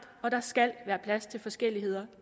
og der skal være plads til forskelligheder